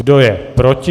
Kdo je proti?